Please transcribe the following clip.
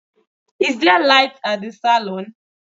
Is there light at the salon?